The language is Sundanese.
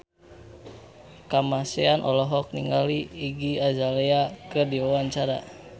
Kamasean olohok ningali Iggy Azalea keur diwawancara